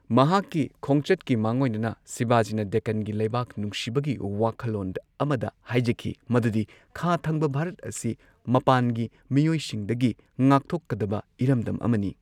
ꯃꯍꯥꯛꯀꯤ ꯈꯣꯡꯆꯠꯀꯤ ꯃꯥꯡꯑꯣꯏꯅꯅ ꯁꯤꯕꯥꯖꯤꯅ ꯗꯦꯛꯀꯥꯟꯒꯤ ꯂꯩꯕꯥꯛ ꯅꯨꯡꯁꯤꯕꯒꯤ ꯋꯥꯈꯜꯂꯣꯟ ꯑꯃꯗ ꯍꯥꯏꯖꯈꯤ, ꯃꯗꯨꯗꯤ ꯈꯥ ꯊꯪꯕ ꯚꯥꯔꯠ ꯑꯁꯤ ꯃꯄꯥꯟꯒꯤ ꯃꯤꯑꯣꯏꯁꯤꯡꯗꯒꯤ ꯉꯥꯛꯊꯣꯛꯀꯗꯕ ꯏꯔꯝꯗꯝ ꯑꯃꯅꯤ꯫